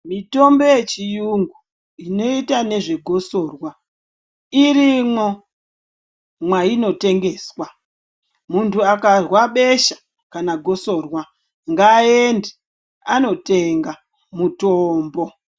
Mitombo ye chiyungu inoita nezve gosorwa irimwo mwaino tengeswa muntu akarwa besha kana gosorwa nga ende ano tenga mutombo.